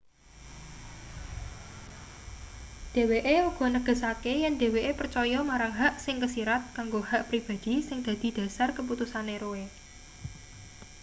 dheweke uga negesake yen dheweke percaya marang hak sing kesirat kanggo hak pribadhi sing dadi dhasar keputusane roe